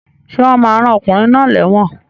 Sé wón ma rán okùnrin náà léwòn